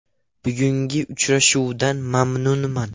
Bugungi uchrashuvdan mamnunman.